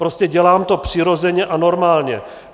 Prostě dělám to přirozeně a normálně.